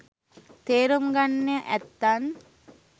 තේරුම් ගන්න ඇත්තන්